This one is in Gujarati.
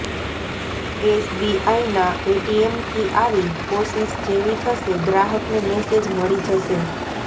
એસબીઆઈના એટીએમથી આવી કોશિશ જેવી થશે ગ્રાહકને મેસેજ મળી જશે